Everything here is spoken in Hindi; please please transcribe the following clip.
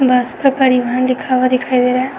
बस पे परिवहन लिखा हुआ दिखाई दे रहा है।